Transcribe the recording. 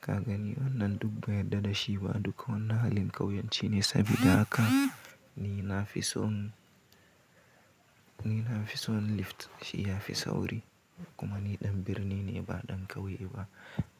Ka gani wannan duk ban yadda dashi ba duk wannan halin ƙauyanci ne sabida haka ni na fi son, ni na fi son lift shi ya fi sauri kuma ni ɗan birni ne ba ɗan ƙauye ba.